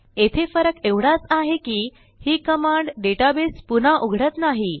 येथे फरक एवढाच आहे की ही कमांड डेटाबेस पुन्हा उघडत नाही